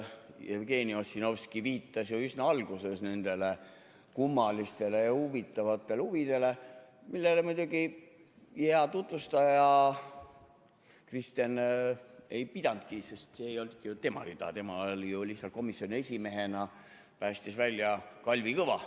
Jevgeni Ossinovski viitas üsna alguses nendele kummalistele ja huvitavatele huvidele, millele muidugi hea tutvustaja Kristen ei pidanudki, sest see ei olnudki tema rida, tema komisjoni esimehena päästis välja Kalvi Kõva.